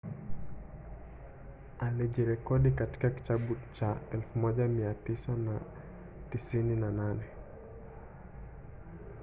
alijirekodi katika kitabu cha 1998